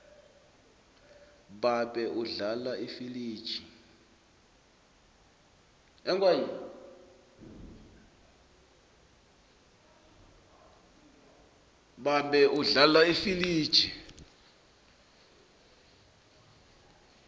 babe udlala ifiliji